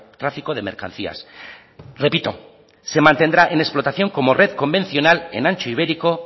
tráfico de mercancías repito se mantendrá en explotación como red convencional en ancho ibérico